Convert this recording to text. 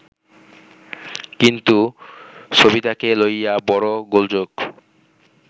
কিন্তু সবিতাকে লইয়া বড় গোলযোগ